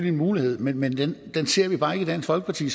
en mulighed men den ser vi bare ikke i dansk folkeparti